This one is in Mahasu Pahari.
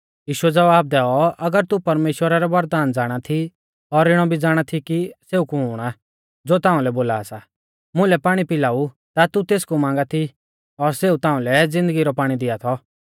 यीशुऐ ज़वाब दैऔ अगर तू परमेश्‍वरा रै वरदान ज़ाणा थी और इणौ भी ज़ाणा थी कि सेऊ कुण आ ज़ो ताउंलै बोला सा मुलै पाणी पिलाऊ ता तू तेसकु मांगा थी और सेऊ ताउंलै ज़िन्दगी रौ पाणी दिआ थौ